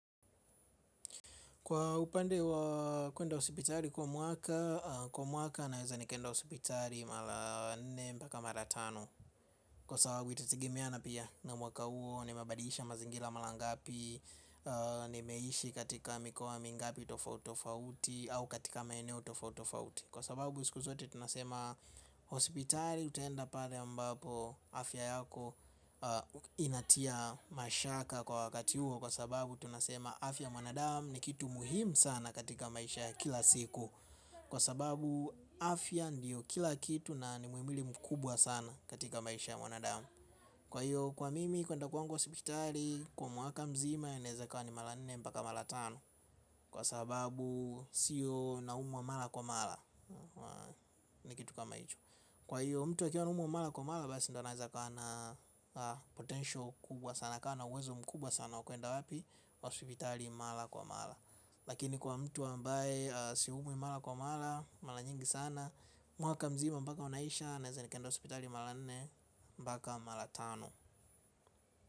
Kwa upande wa kuenda hospitali kwa mwaka, kwa mwaka naweza nikaenda hospitali mara nne mpaka mara tano. Kwa sababu itategemeana pia na mwaka huo nimebadilisha mazingira mara ngapi, nimeishi katika mikoa mingapi tofauti tofauti au katika maeneo tofauti tofauti. Kwa sababu siku zote tunasema hospitali utaenda pale ambapo afya yako inatia mashaka kwa wakati huo. Kwa sababu tunasema afya ya mwanadamu ni kitu muhimu sana katika maisha ya kila siku. Kwa sababu afya ndiyo kila kitu na ni muhimili mkubwa sana katika maisha ya mwanadamu. Kwa hiyo kwa mimi kuenda kwangu hospitali kwa mwaka mzima inaweza ikawa ni mara nne mpaka mara tano kwa sababu siyo naumwa wa mara kwa mara, ni kitu kama hicho. Kwa hiyo mtu akiwa anaumwa mara kwa mara basi ndio anaweza akawa na potential kubwa sana, akawa na uwezo mkubwa sana wa kwenda wapi, hospitali mara kwa mara. Lakini kwa mtu ambaye siumwi mara kwa mara, mara nyingi sana mwaka mzima mpaka unaisha, naweza nikaenda hospitali mara nne mpaka mara tano.